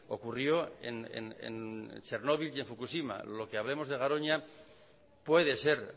ocurrió en chernobil y en fukushima lo que hablemos de garoña puede ser